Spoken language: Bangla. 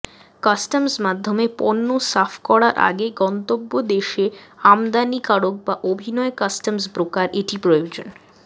কাস্টমস মাধ্যমে পণ্য সাফ করার আগে গন্তব্য দেশে আমদানিকারক বা অভিনয় কাস্টমস ব্রোকার এটি প্রয়োজন